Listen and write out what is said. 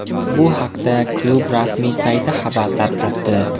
Bu haqda klub rasmiy sayti xabar tarqatdi .